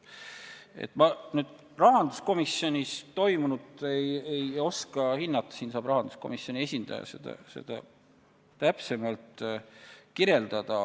Rahanduskomisjonis toimunut ei oska ma hinnata, seda saab rahanduskomisjoni esindaja täpsemalt kirjeldada.